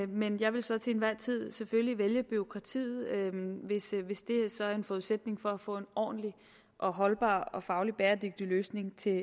men jeg vil så til enhver tid selvfølgelig vælge bureaukratiet hvis hvis det er en forudsætning for at få en ordentlig holdbar og fagligt bæredygtig løsning til